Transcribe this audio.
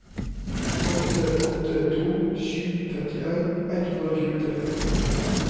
åtte åtte to sju femtien ett hundre og tjuetre